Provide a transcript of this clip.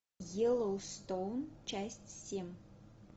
йеллоустоун часть семь